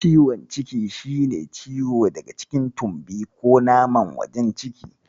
Ciwon ciki shi ne ciwo daga cikin tumbi ko naman wajen ciki.